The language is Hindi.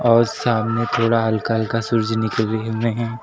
और सामने थोड़ा हल्का हल्का सूरुज निकले हुए हैं।